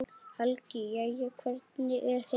Helga: Jæja, hvernig er heilsan?